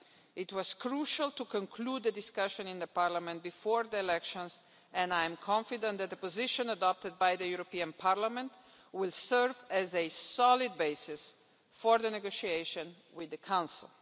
It was crucial to conclude the discussion in Parliament before the elections and I am confident that the position adopted by the European Parliament will serve as a solid basis for the negotiation with the Council.